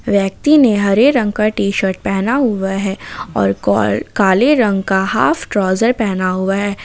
व्यक्ति ने हरे रंग का टी शर्ट पहना हुआ है और काअ काले रंग का हाफ ट्राउजर पहना हुआ है।